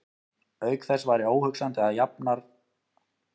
Auk þess væri óhugsandi að jafnartarlegur maður og Guðni stæði í slíku.